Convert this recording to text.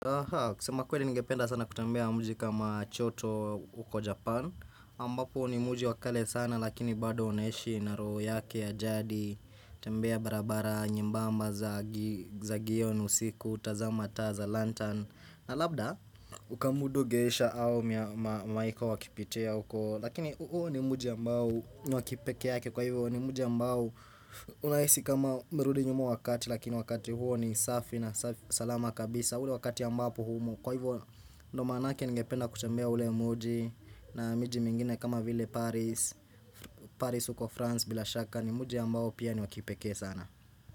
Kusema kwnli ningependa sana kutembea muji kama choto huko Japan ambapo ni muji wa kale sana lakini bado unaishi na roho yake ya jadi tembea barabara nyembamba za gion usiku, tazama taa za lantern na labda, ukamudu geisha au maika wakipitia huko Lakini huo ni muji ambao ni wa kipekeake kwa hivyo ni muji ambao Unahisi kama umerudi nyuma wakati lakini wakati huo ni safi na salama kabisa ule wakati ambapo humo Kwa hivyo ndio manake ningependa kutembea ule muji na miji mingine kama vile Paris uko France bila shaka ni muji ambao pia ni wa kipekee sana.